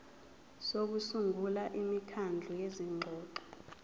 sokusungula imikhandlu yezingxoxo